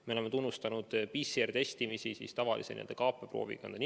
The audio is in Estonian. Me oleme tunnustanud PCR-testimist, tavalist kaapeproovi ninast.